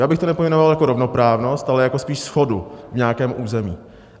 Já bych to nepojmenoval jako rovnoprávnost, ale jako spíš shodu v nějakém území.